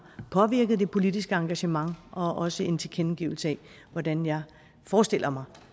påvirket det politiske engagement og også en tilkendegivelse af hvordan jeg forestiller mig